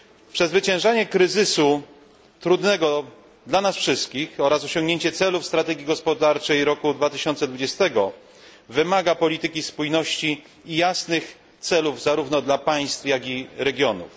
Przezwyciężanie kryzysu, trudnego dla nas wszystkich, oraz osiągnięcie celów strategii gospodarczej roku 2020 wymaga polityki spójności i jasnych celów zarówno dla państw, jak i regionów.